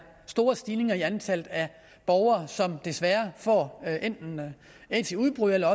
store stigninger i antallet af borgere som desværre får enten aids i udbrud eller